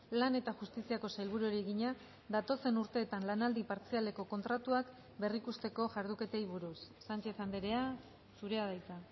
lan eta justiziako sailburuari egina datozen urteetan lanaldi partzialeko kontratuak berrikusteko jarduketei buruz sánchez andrea zurea da hitza